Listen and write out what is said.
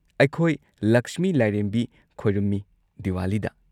ꯑꯩꯈꯣꯏ ꯂꯛꯁꯃꯤ ꯂꯥꯏꯔꯦꯝꯕꯤ ꯈꯣꯏꯔꯝꯃꯤ ꯗꯤꯋꯥꯂꯤꯗ꯫